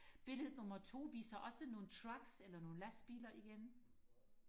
billede nummer to viser også nogle trucks eller nogle lastbiler igen